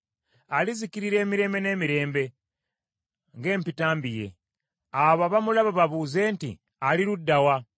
alizikirira emirembe n’emirembe nga empitambi ye: abo abamulaba babuuze nti, ‘Ali ludda wa?’